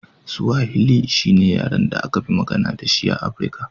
Swahili shi ne yaren da aka fi magana da shi a Afirka.